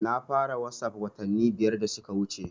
Na fara wasap watanni biyar da suka wuce